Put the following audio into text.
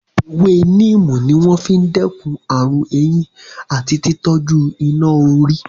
Ewé níìmù ní wọ́n fi n dẹ́kun ààrùn eyín àti tí tọ́jú iná-orí